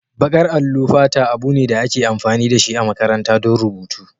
Baƙar allo fata abu ne da ake amfani da shi a makarantu don rubutu.